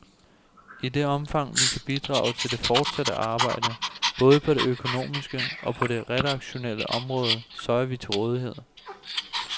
I det omfang vi kan bidrage til det fortsatte arbejde, både på det økonomiske og på det redaktionelle område, så er vi til rådighed.